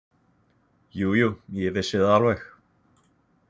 Jú, jú, ég vissi það alveg.